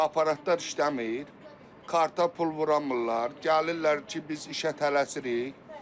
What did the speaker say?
Aparatdar işləmir, karta pul vura bilmirlər, gəlirlər ki, biz işə tələsirik.